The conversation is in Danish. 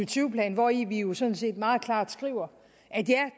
tyve plan hvori vi jo sådan set meget klart skriver